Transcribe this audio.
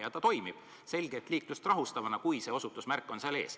Kaamera toimib selgelt liiklust rahustavana, kui see osutusmärk on seal ees.